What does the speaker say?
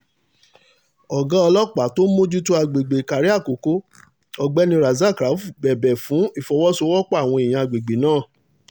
ọ̀gá ọlọ́pàá tó ń mójútó àgbègbè ìkàrẹ̀ àkókò ọ̀gbẹ́ni razak rauf bẹ̀bẹ̀ fún ìfọwọ́sowọ́pọ̀ àwọn èèyàn àgbègbè náà